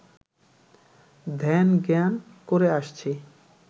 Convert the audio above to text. ধ্যান-জ্ঞান করে আসছি